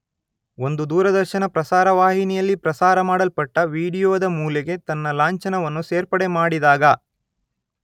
ಒಂದು ದೂರದರ್ಶನ ಪ್ರಸಾರ ವಾಹಿನಿಯಲ್ಲಿ ಪ್ರಸಾರಮಾಡಲ್ಪಟ್ಟ ವಿಡಿಯೋದ ಮೂಲೆಗೆ ತನ್ನ ಲಾಂಛನವನ್ನು ಸೇರ್ಪಡೆ ಮಾಡಿದಾಗ